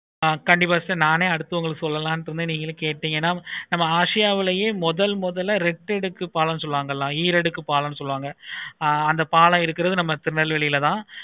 கண்டிப்பா sister நானே அடுத்து உங்களுக்கு சொல்லலாம் இருந்தேன் நீங்களே கேட்டிங்களா ஆசியாவிலே முதல் முதல ரெட்டடுக்கு பாலம் ஈரடுக்கு பாலம் அந்த பாலம் இருக்குறது நம்ம திருநெல்வேலில தான்